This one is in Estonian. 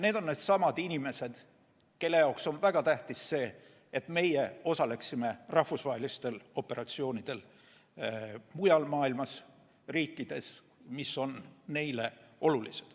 Need on needsamad inimesed, kelle jaoks on väga tähtis, et me osaleksime rahvusvahelistel operatsioonidel mujal maailmas, riikides, mis on meile olulised.